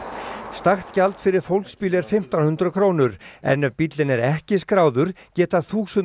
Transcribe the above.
stakt gjald fyrir fólksbíl er fimmtán hundruð krónur en ef bíllinn er ekki skráður geta þúsund